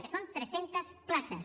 que són tres centes places